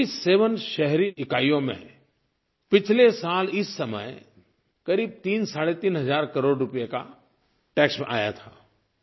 47 शहरी इकाइयों में पिछले साल इस समय क़रीब तीनसाढ़े तीन हज़ार करोड़ रुपये का टैक्स आया था